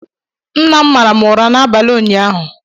Nna m mara m ụra n'abalị ụnyaahụ